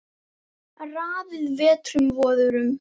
Raðaði vetrum vorum